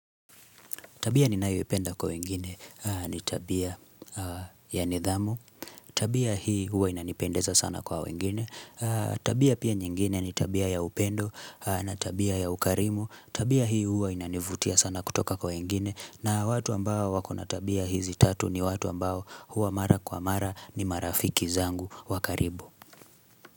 Tabia ninayo ipenda kwa wengine ni tabia ya nidhamu, tabia hii huwa inanipendeza sana kwa wengine, tabia pia nyingine ni tabia ya upendo na tabia ya ukarimu, tabia hii huwa inanivutia sana kutoka kwa wengine na watu ambao wakona tabia hizi tatu ni watu ambao huwa mara kwa mara ni marafiki zangu wakaribu.